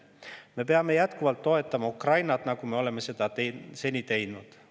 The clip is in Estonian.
Me peame jätkuvalt toetama Ukrainat, nagu me oleme seni seda teinud.